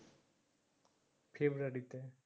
ফেব্রুয়ারিতে